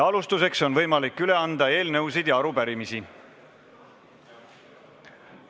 Alustuseks on võimalik üle anda eelnõusid ja arupärimisi.